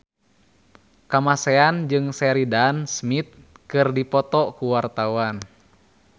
Kamasean jeung Sheridan Smith keur dipoto ku wartawan